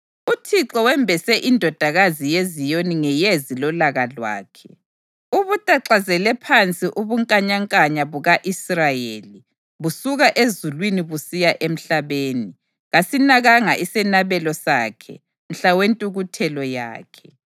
UThixo wembese iNdodakazi yeZiyoni ngeyezi lolaka lwakhe! Ubutaklazele phansi ubunkanyankanya buka-Israyeli busuka ezulwini busiya emhlabeni; kasinakanga isenabelo sakhe mhla wentukuthelo yakhe.